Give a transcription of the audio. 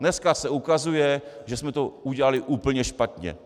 Dneska se ukazuje, že jsme to udělali úplně špatně.